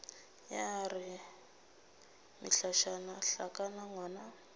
ya re mehlašana hlakana ngwang